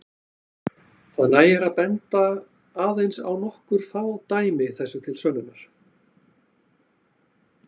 Það nægir að benda aðeins á nokkur fá dæmi þessu til sönnunar.